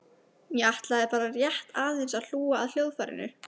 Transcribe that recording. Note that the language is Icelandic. Ég ætla bara rétt aðeins að hlúa að hljóðfærinu.